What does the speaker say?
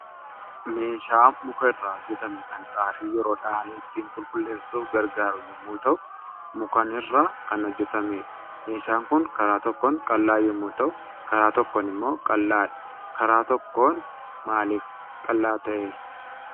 Meeshaa muka irraa hojjetame kan xaafii yeroo dha'an ittiin qulqulleessuuf gargaaru yommuu ta'u, mukanirra kan hojjetamedha. Meeshaan kun karaa tokkoon qal'aa yommuu ta'u, karaa tokkon immoo qal'aadha. Karaa tokkoon maalif qal'aa ta'e?